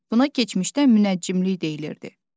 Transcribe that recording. Buna keçmişdə münəccimlik deyilirdi.